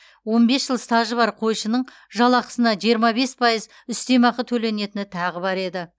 он бес жыл стажы бар қойшының жалақысына жиырма бес пайыз үстемақы төленетіні тағы бар еді